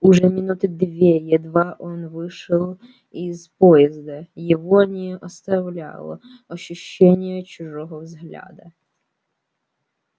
уже минуты две едва он вышел из поезда его не оставляло ощущение чужого взгляда